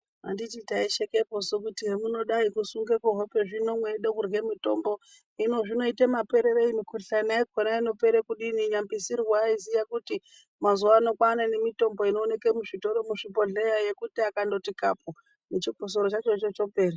Handiti taishekeposu kuti hamuno dai kusunga kuhope zvino meida kurya mutombo hinozvinoita mapererei mukuhlani inopera kudini nyambisirwa aiziya kuti mazuwano kwane nemitombo inoonekwa muzvibhehleya nemuzvitoro yekuti akandoti kapu nechikosoro chacho chopera